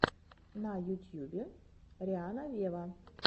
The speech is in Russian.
на ютюбе рианна вево